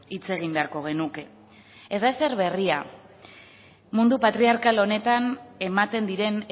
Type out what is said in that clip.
hitz egin beharko genuke ez da ezer berria mundu patriarkal honetan ematen diren